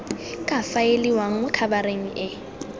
ka faeliwang mo khabareng e